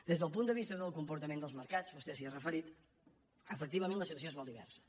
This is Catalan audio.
des del punt de vista del comportament dels mercats vostè s’hi ha referit efectivament la situació és molt diversa